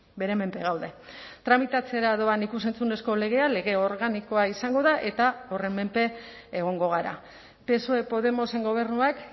bere menpe gaude tramitatzera doan ikus entzunezko legea lege organikoa izango da eta horren menpe egongo gara psoe podemosen gobernuak